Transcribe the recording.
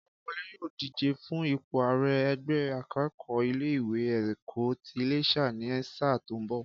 Kọ́láwọlé yóò díje fún ipò àrẹ ẹgbẹ́ akẹ́kọ̀ọ́ ilé ìwé ẹ̀kọ́ ti Iléṣà ní sáà tó ń bọ̀